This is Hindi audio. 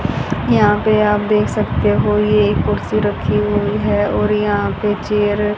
यहां पे आप देख सकते हो ये एक कुर्सी रखी हुई है और यहां पे चेयर --